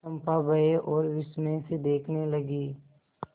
चंपा भय और विस्मय से देखने लगी